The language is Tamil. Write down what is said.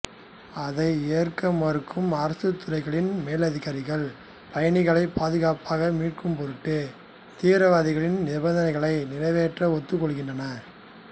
அதை ஏற்க மறுக்கும் அரசுத்துறைகளின் மேலதிகாரிகள் பயணிகளை பாதுகாப்பாக மீட்கும்பொருட்டு தீவிரவாதிகளின் நிபந்தனைகளை நிறைவேற்ற ஒத்துக்கொள்கின்றனர்